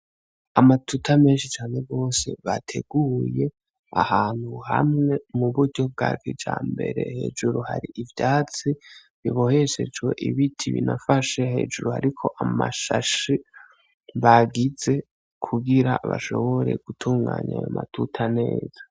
Amatuta menshi cane gose bateguye ahantu hamwe mu buryo bwa kijambere, hejuru hari ivyatsi biboheshejwe ibiti binafashe hejuru hariko amashashe bagize kugira bashobore gutunganya ayo matuta neza.